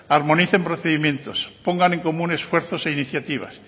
armonicen procedimientos pongan en común esfuerzos e iniciativas